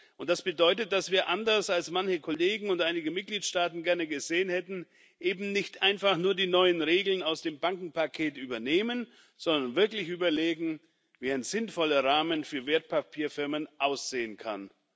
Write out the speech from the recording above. Und das bedeutet, dass wir anders, als manche Kollegen und einige Mitgliedstaaten gerne gesehen hätten eben nicht einfach nur die neuen Regeln aus dem Bankenpaket übernehmen, sondern wirklich überlegen, wie ein sinnvoller Rahmen für Wertpapierfirmen aussehen kann.